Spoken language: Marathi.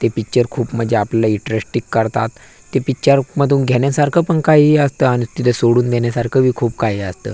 ते पिक्चर खूप म्हणजे आपल्याला इंटरेस्टिंग करतात ते पिक्चर मधून घेण्यासारख पण काही असत आणि तिथे सोडून देण्यासारख बी खूप काई असतं.